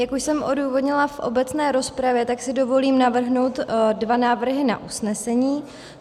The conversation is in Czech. Jak už jsem odůvodnila v obecné rozpravě, tak si dovolím navrhnout dva návrhy na usnesení.